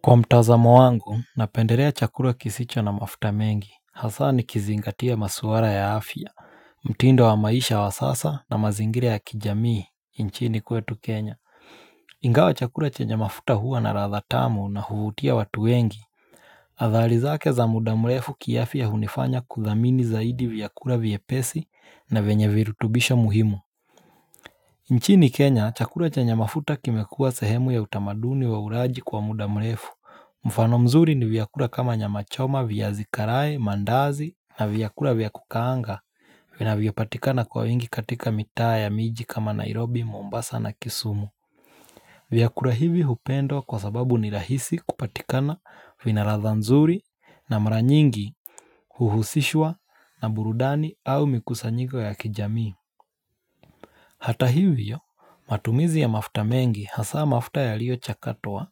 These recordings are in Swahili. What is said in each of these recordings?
Kwa mtazamo wangu, napendelea chakula kisicho na mafuta mengi, hasa nikizingatia maswala ya afya, mtindo wa maisha wa sasa na mazingira ya kijamii, nchini kwetu Kenya. Ingawa chakula chenye mafuta huwa na ladha tamu na huvutia watu wengi Athari zake za muda mrefu kiafya hunifanya kudhamini zaidi vyakula vyepesi na venye virutubisho muhimu nchini Kenya chakula chenye mafuta kimekua sehemu ya utamaduni wa ulaji kwa muda mrefu. Mfano mzuri ni viyakula kama nyama choma, viazi karae, mandazi na vyakula viya kukaanga vinavyo patikana kwa wingi katika mitaa ya miji kama Nairobi, Mombasa na Kisumu vyakula hivi hupendwa kwa sababu ni rahisi kupatikana vina ladha nzuri na mra nyingi Huhusishwa na burudani au mikusanyiko ya kijamii Hata hivyo, matumizi ya mafuta mengi hasaa mafuta yaliyo chakatwa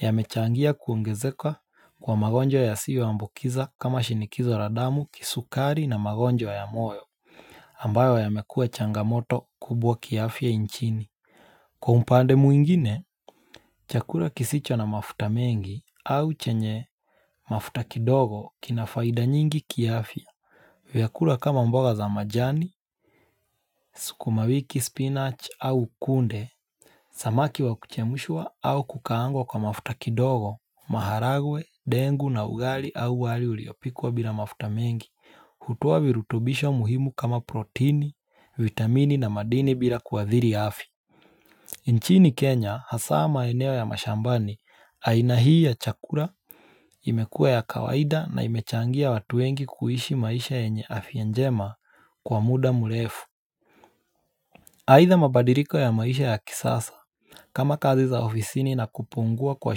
Yamechangia kuongezeka kwa magonjwa yasiyo ambukiza kama shinikizo la damu kisukari na magonjwa ya moyo ambayo yamekua changa moto kubwa kiafya nchini. Kwa upande mwingine, chakula kisicho na mafuta mengi au chenye mafuta kidogo kinafaida nyingi kiafya vyakula kama mboga za majani, sukuma wiki, spinach au kunde Samaki wa kuchemushwa au kukaangwa kwa mafuta kidogo, maharagwe, ndegu na ugali au wali uliopikwa bila mafuta mengi hutoa virutubisho muhimu kama protini, vitamini na madini bila kuwadhiri afya nchini Kenya, hasaa maeneo ya mashambani, aina hii ya chakula, imekua ya kawaida na imechangia watu wengi kuishi maisha yenye afya njema kwa muda mrefu Either mabadiliko ya maisha ya kisasa kama kazi za ofisini na kupungua kwa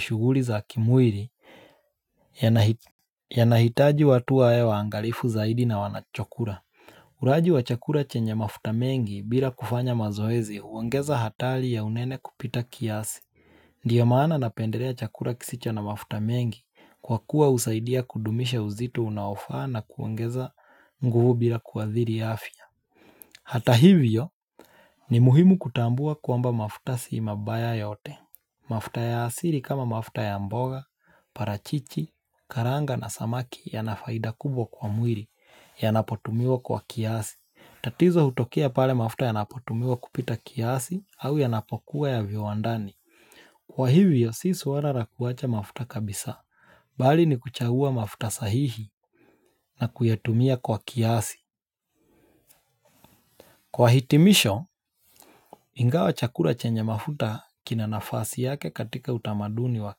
shughuli za kimwili yana hitaji watu wawe waangalifu zaidi na wanachokula. Ulaji wa chakula chenye mafuta mengi bila kufanya mazoezi huongeza hatari ya unene kupita kiasi. Ndio mana napendelea chakula kisicho na mafuta mengi kwa kuwa husaidia kudumisha uzito unaofaa na kuongeza nguvu bila kuadhiri afya. Hata hivyo ni muhimu kutambua kwamba mafuta si mabaya yote. Mafuta ya asili kama mafuta ya mboga, parachichi, karanga na samaki yana faida kubwa kwa mwili yanapo tumiwa kwa kiasi. Tatizo hutokea pale mafuta yanapo tumiwa kupita kiasi au yanapo kuwa ya viwandani. Kwa hivyo si swala la kuacha mafuta kabisa. Bali ni kuchagua mafuta sahihi na kuyatumia kwa kiasi. Kwa hitimisho Ingawa chakula chenye mafuta kina nafasi yake katika utamaduni wa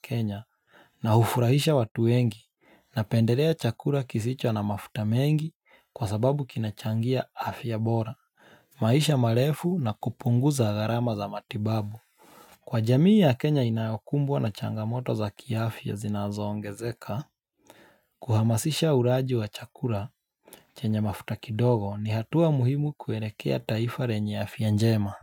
kenya na ufurahisha watu wengi na pendelea chakula kisicho na mafuta mengi kwa sababu kinachangia afya ya bora maisha marefu na kupunguza gharama za matibabu. Kwa jamii ya kenya inayokumbwa na changa moto za kiafya zinazo ongezeka kuhamasisha ulaji wa chakula chenye mafuta kidogo ni hatua muhimu kuelekea taifa lenye afya njema.